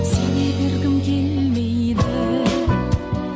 сене бергім келмейді